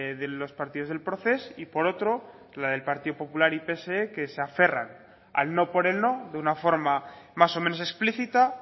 de los partidos del proces y por otro la del partido popular y del pse que se aferran al no por el no de una forma más o menos explícita